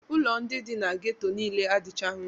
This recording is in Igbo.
Ụlọ ndị dị na ghetto niile adịchaghị mma.